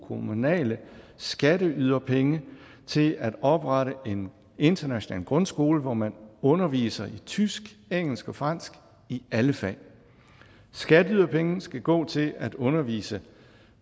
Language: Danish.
kommunale skatteyderpenge til at oprette en international grundskole hvor man underviser i tysk engelsk og fransk i alle fag skatteyderpenge skal gå til at undervise